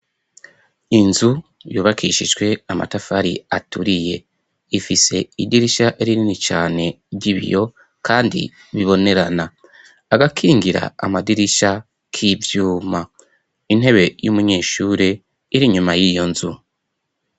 Inzu yubakishijwe amatafari aturiye ifise idirisha rinini cane ry'ibiyo kandi bibonerana agakingira amadirisha k'ivyuma intebe y'umunyeshure iri nyuma y'iyo nzu.